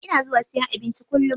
Ina zuwa siyan abinci kullum.